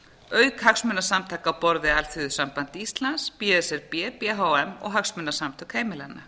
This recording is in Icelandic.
auk hagsmunasamtaka á borð við alþýðusamband íslands b s r b b h m og hagsmunasamtök heimilanna